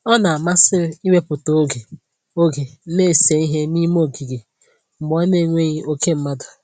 Ọ na-amasị m iwepụta oge oge na-ese ihe n'ime ogige mgbe ọ na-enweghị oke mmadụ